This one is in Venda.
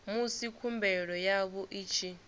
musi khumbelo yavho i tshi